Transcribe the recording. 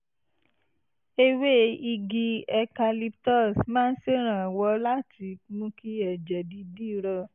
ewé igi eucalyptus máa ń ṣèrànwọ́ láti mú kí ẹ̀jẹ̀ dídì rọ